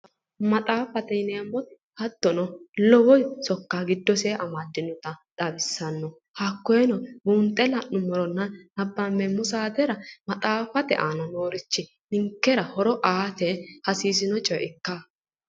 Maxaaffate yineemmoti hattono lowo sokka giddose amaddinota xawissanno hakkoyeno buunxe la'nummoronna nabbambeemmo saatera maxaaffate aana noorichi ninkera horo aate hasiisino coye ikkanno